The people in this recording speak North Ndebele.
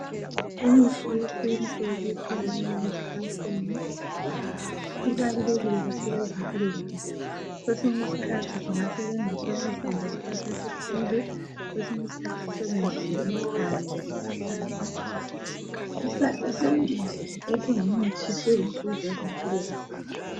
Imithi yesintu ethalakala esihlahleni ibalulekile kakhulu ezimpilweni zethu kwesinye isikhathi singasebenzisa amahlamvu esihlahla esithile kwesinye isikhathi sisebenzise impande zesihlahla ,isihlahla sonke nje esingumuthi silisizo ezimpilweni zethu.